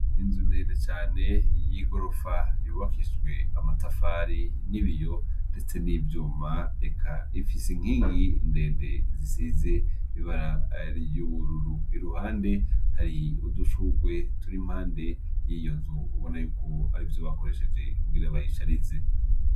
Inzu ndende cane y'igorofa yubakishjwe amatafari n'ibiyo, ndetse n'ivyuma eka ifise inkingi ndende zisize bibarariyururu i ruhande hari udushurwe turi impande y'iyo nzu ubona yuko ari vyo bakoresheje kugira bayisharize.